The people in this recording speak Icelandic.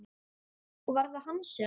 Og var það hann sem?